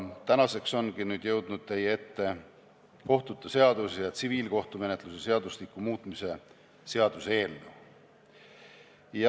Nüüd ongi jõudnud teie ette kohtute seaduse ja tsiviilkohtumenetluse seadustiku muutmise seaduse eelnõu.